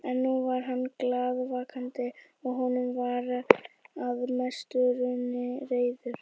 En núna var hann glaðvakandi og honum var að mestu runnin reiðin.